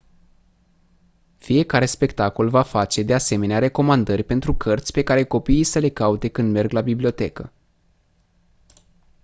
fiecare spectacol va face de asemenea recomandări pentru cărți pe care copiii să le caute când merg la bibliotecă